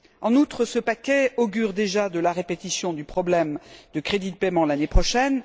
En outre, ce paquet augure déjà de la répétition du problème de crédit de paiement de l'année prochaine.